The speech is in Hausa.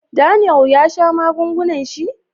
"Daniel" ya sha magungunan shi?